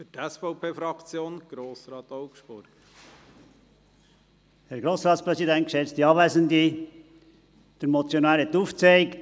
Der Motionär hat aufgezeigt, welches die Herleitung dieser Motion ist.